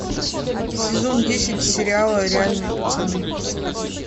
сезон десять сериала реальные пацаны